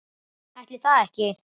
Ætli það ekki?